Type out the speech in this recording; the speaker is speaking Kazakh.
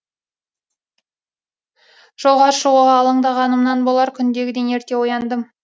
жолға шығуға алаңдағанымнан болар күндегіден ерте ояндым